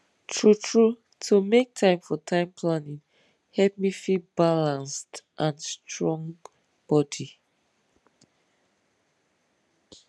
truetrue to make time for time planning help me feel balanced and strong body